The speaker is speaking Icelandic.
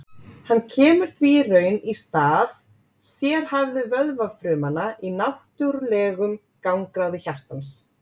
Hann kemur því í raun í stað sérhæfðu vöðvafrumanna í náttúrlegum gangráði hjartans.